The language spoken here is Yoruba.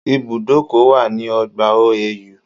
There is a bus stop on OAU campus